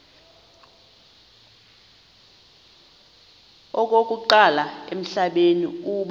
okokuqala emhlabeni uba